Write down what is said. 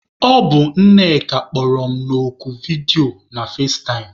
Ọ bụ Nneka kpọrọ m oku vidiyo na fazetaịm.